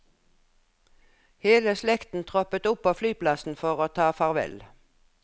Hele slekten troppet opp på flyplassen for å ta farvel.